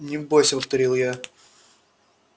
не бойся повторил я